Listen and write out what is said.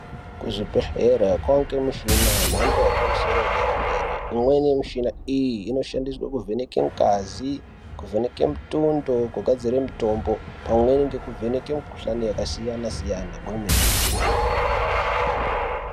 Kuzvibhehlera kwaite michina yemhando yepamusoro yederadera, imweni yemishina iyi inoshandiswa kuvheneke ngazi, kuvheneke mutundo kugadzire mitombo pamweni nekuvheneke mikhuhlani yakasiyanasiyana, ngemeningo.